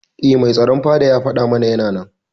Eh Mai tsaron fada ya fada mana Yana nan.